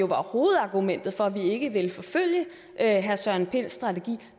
var hovedargumentet for at vi ikke ville forfølge herre søren pinds strategi